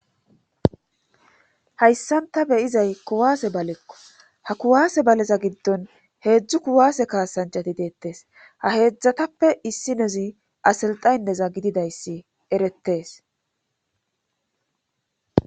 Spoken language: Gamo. Hayssanta beyizay kuwaase balekko ha kuwaase baleza giddon heedzdzu kuwaase kaasancati deettees ha heedzdzatappe issinezi aselxaynneza gididayssi erettees.